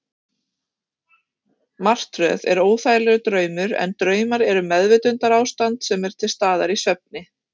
Martröð er óþægilegur draumur, en draumar eru meðvitundarástand sem er til staðar í svefni.